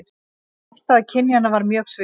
Afstaða kynjanna var mjög svipuð